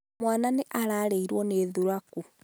mwana nĩararĩĩo nĩ thuraku